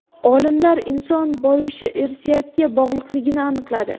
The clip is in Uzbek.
Olimlar inson boyishi irsiyatga bog‘liqligini aniqladi.